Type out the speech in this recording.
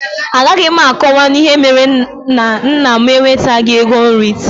A gaghị m a kọwanwu ìhè méré na nnà m ewetaghi égo nri taa